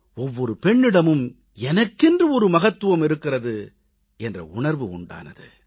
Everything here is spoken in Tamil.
ஒவ்வொரு பெண்ணிடமும் தனக்கென்று மகத்துவம் இருக்கிறது என்ற உணர்வு உண்டானது